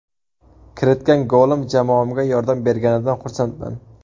Kiritgan golim jamoamga yordam berganidan xursandman.